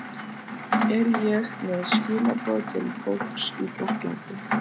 Er ég með skilaboð til fólks í Frakklandi?